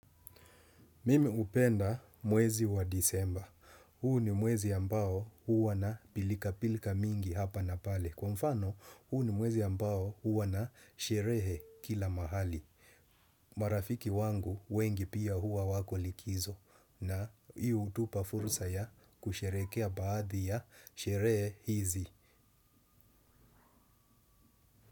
Mimi hupenda mwezi wa Desemba. Huu ni mwezi ambao huwa na pilka pilka mingi hapa na pale. Kwa mfano huu ni mwezi ambao huwa na sherehe kila mahali. Marafiki wangu wengi pia huwa wako likizo. Hii hutupa fursa ya kusheherekea baadhi ya sherehe hizi.